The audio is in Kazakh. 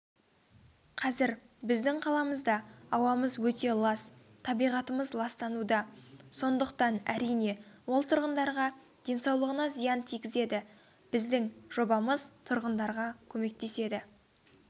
қазір біздің қаламызда ауамыз өте лас табиғатымыз ластануда сондықтан әрине ол тұрғындарға денсаулығына зиян тигізеді біздің жобамыз тұрғындарға көмектеседі